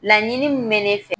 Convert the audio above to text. Laɲini min bɛ ne fɛ